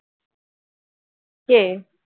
কে